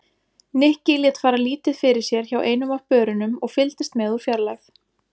Nikki lét fara lítið fyrir sér hjá einum af börunum og fylgdist með úr fjarlægð.